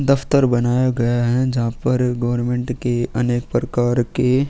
दफ्तर बनाया गया है जहापर गवरमेंट के अनेक प्रकार के --